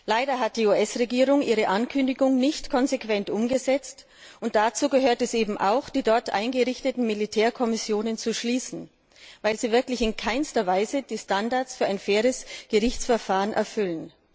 Leider hat die US Regierung ihre Ankündigung nicht konsequent umgesetzt. Dazu gehört eben auch, die dort eingerichteten Militärkommissionen zu schließen, weil sie wirklich in keiner Weise die Standards für ein faires Gerichtsverfahren erfüllen.